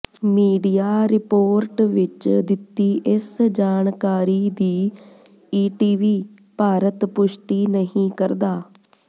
media report ਵਿੱਚ ਦਿੱਤੀ ਇਸ ਜਾਣਕਾਰੀ ਦੀ ਈਟੀਵੀ ਭਾਰਤ ਪੁਸ਼ਟੀ ਨਹੀਂ ਕਰਦਾ